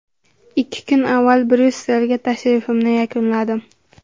Ikki kun avval Bryusselga tashrifimni yakunladim.